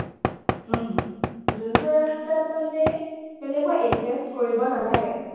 যোনটো ৰাস্তাত মানে তেনেকুৱা invest কৰিব নালাগে।